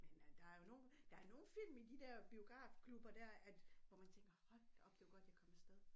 Men øh der jo nogle der er nogle film i de der biografklubber dér at hvor man tænker hold da op det var godt jeg kom afsted